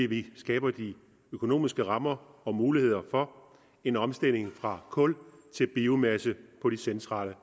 vi skaber de økonomiske rammer og muligheder for en omstilling fra kul til biomasse på de centrale